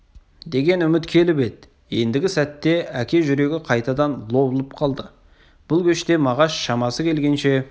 деген үміт келіп еді ендігі сәтте әке жүрегі қайтадан лоблып қалды бұл кеште мағаш шамасы келгенше